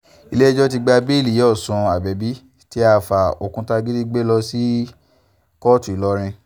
ilé-ẹjọ́ ti gba bẹ́ẹ̀lì ìyá ọ̀sùn abẹ́bí tí àáfáà òkútagídí gbé lọ sí kóòtù ńìlọrin